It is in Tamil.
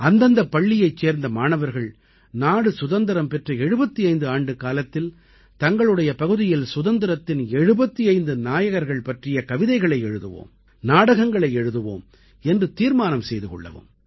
அந்தந்தப் பள்ளியைச் சேர்ந்த மாணவர்கள் நாடு சுதந்திரம் பெற்ற 75 ஆண்டுக்காலத்தில் தங்களுடைய பகுதியில் சுதந்திரத்தின் 75 நாயகர்கள் பற்றிய கவிதைகளை எழுதுவோம் நாடகங்களை எழுதுவோம் என்று தீர்மானம் செய்து கொள்ளவும்